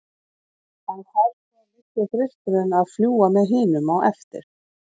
En fær svo litli þristurinn að fljúga með hinum á eftir?